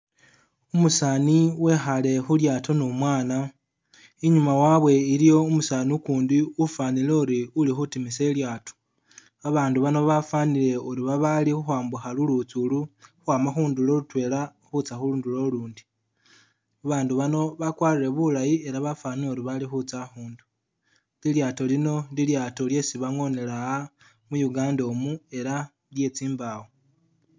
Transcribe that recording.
Umusani wekhale khu lyaato ni umwana inyuma wabwe iliyo umusaani ukundi ufanile uri uli khutimisa e'lyaato, abandu bano bafanile uri babali khukhwambukha lulutsi uli ukhwama khundulo lutwela khutsa khundulo ulundi babandu bano bakwalire bulayi ela bafanile uri bali khutsa akhundu, lilyaato lino lilyaato lyesi bangonela ah mu Uganda umu ela lyetsi mbawo